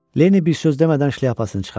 Lenni bir söz demədən şlyapasını çıxardı.